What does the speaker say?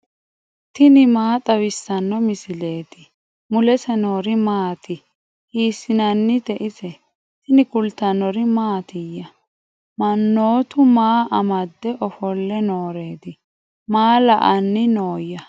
tini maa xawissanno misileeti ? mulese noori maati ? hiissinannite ise ? tini kultannori mattiya? Mannoottu maa amade offolle nooreetti? Maa la'anni nooya?